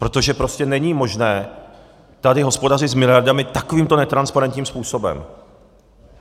Protože prostě není možné tady hospodařit s miliardami takovýmto netransparentním způsobem.